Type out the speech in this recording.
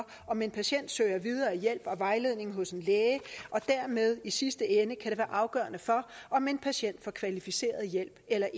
om en patient søger videre hjælp og vejledning hos en læge og dermed kan i sidste ende være afgørende for om en patient får kvalificeret hjælp eller